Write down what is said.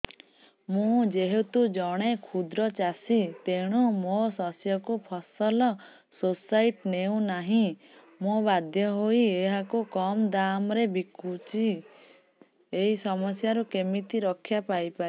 ମୁଁ ଯେହେତୁ ଜଣେ କ୍ଷୁଦ୍ର ଚାଷୀ ତେଣୁ ମୋ ଶସ୍ୟକୁ ଫସଲ ସୋସାଇଟି ନେଉ ନାହିଁ ମୁ ବାଧ୍ୟ ହୋଇ ଏହାକୁ କମ୍ ଦାମ୍ ରେ ବିକୁଛି ଏହି ସମସ୍ୟାରୁ କେମିତି ରକ୍ଷାପାଇ ପାରିବି